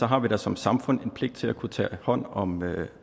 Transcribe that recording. har vi da som samfund en pligt til at kunne tage hånd om